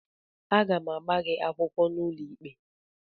Aga m agba gị akwụkwọ n'ụlọikpe